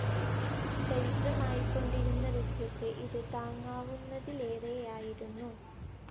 ദരിദ്രമായിക്കൊണ്ടിരുന്ന റഷ്യക്ക് ഇത് താങ്ങാവുന്നതിലേറെയായിരുന്നു.